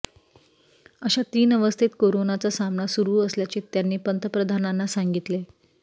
अशा तीन अवस्थेत कोरोनाचा सामना सुरु असल्याचे त्यांनी पंतप्रधानांना सांगितले